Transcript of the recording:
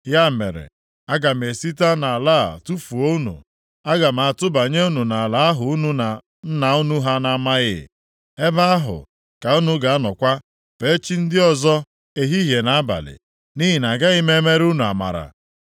Ya mere, aga m esite nʼala a tufuo unu. Aga m atụbanye unu nʼala ahụ unu na nna unu ha na-amaghị. Ebe ahụ ka unu ga-anọkwa fee chi ndị ọzọ ehihie na abalị. Nʼihi na agaghị m emere unu amara.’